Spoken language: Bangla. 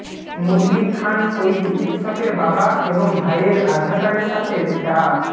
মুদবির খান ঐ চিকিৎসকের বাবা এবং ভাইয়ের আধার কার্ডের সাথে ডা